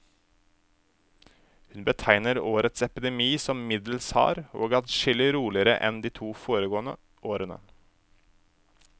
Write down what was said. Hun betegner årets epidemi som middels hard, og adskillig roligere enn de to foregående årene.